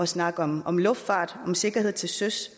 snakke om om luftfart og sikkerhed til søs